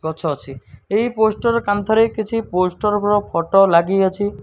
ଗଛ ଅଛି ଏହି ପୋଷ୍ଟର୍ କାନ୍ତଃ ରେ କିଛି ପୋଷ୍ଟର୍ ବ୍ ର ଫଟୋ ଲାଗିଅଛି।